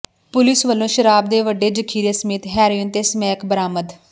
police ਵਲੋਂ ਸ਼ਰਾਬ ਦੇ ਵੱਡੇ ਜ਼ਖੀਰੇ ਸਮੇਤ ਹੈਰੋਇੰਨ ਤੇ ਸਮੈਕ ਬਰਾਮਦ